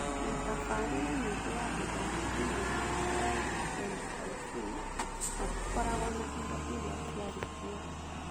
Mĩtabarĩre mĩingĩ ya gĩthomo thĩinĩ wa LMIC matikoragwo na indo iria ciarĩ kuo.